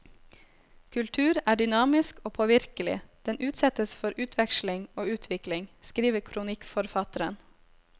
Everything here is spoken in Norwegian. Kultur er dynamisk og påvirkelig, den utsettes for utveksling og utvikling, skriver kronikkforfatteren.